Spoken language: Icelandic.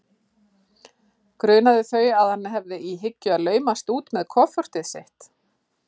Grunaði þau að hann hefði í hyggju að laumast út með kofortið sitt?